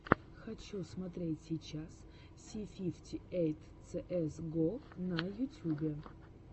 хочу смотреть сейчас си фифти эйт цээс го на ютюбе